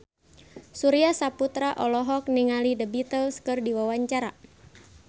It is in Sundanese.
Surya Saputra olohok ningali The Beatles keur diwawancara